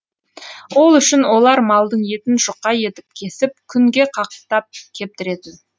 ол үшін олар малдың етін жұқа етіп кесіп күнге қақтап кептіретін